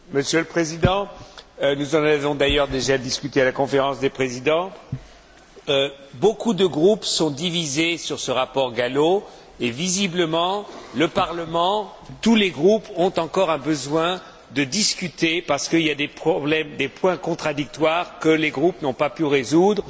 Monsieur le Président, nous en avons d'ailleurs déjà discuté à la Conférence des présidents beaucoup de groupes sont divisés sur ce rapport Gallo et, visiblement, tous les groupes ont encore besoin de discuter parce qu'il y a des problèmes, des points contradictoires que les groupes n'ont pas pu résoudre.